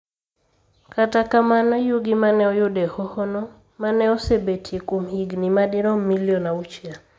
Kata kamano, yugi ma ne oyud e hohono ma ne osebetie kuom higini madirom milion auchiel.